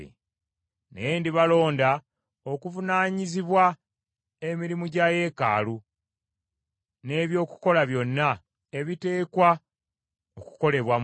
Naye ndibalonda okuvunaanyizibwa emirimu gya yeekaalu, n’eby’okukola byonna ebiteekwa okukolebwa mu yo.